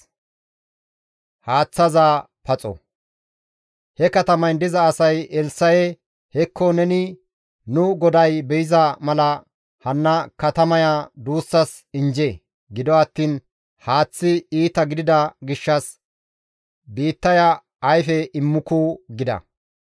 He katamayn diza asay Elssa7e, «Hekko neni nu goday be7iza mala hanna katamaya duussas injje; gido attiin haaththi iita gidida gishshas biittaya ayfe immuku» gida.